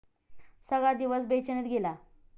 सगळा दिवस बेचैनीत गेला.